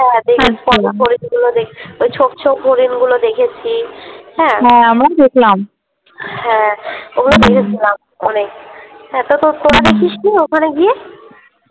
ওই ছোপ ছোপ হরিণ গুলো দেখেছি হ্যাঁ, হ্যাঁ আমরাও দেখলাম , হ্যাঁ ওগুলো দেখেছিলাম অনেক হ্যাঁ তোতোরা দেখিসনি ওখানে গিয়ে?